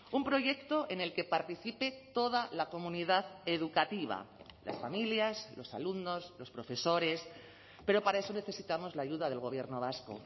un proyecto en el que participe toda la comunidad educativa las familias los alumnos los profesores pero para eso necesitamos la ayuda del gobierno vasco